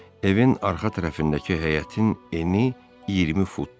Evin arxa tərəfindəki həyətin eni 20 futdur.